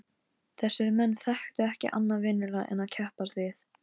Hún á ekkert annað skilið af honum.